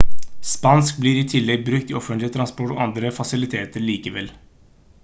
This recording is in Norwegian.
spansk blir i tillegg brukt i offentlig transport og andre fasiliteter likevel